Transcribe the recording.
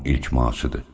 Onun ilk maaşıdır.